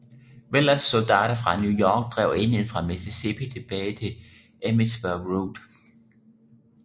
Willards soldater fra New York drev enheden fra Mississippi tilbage til Emmitsburg Road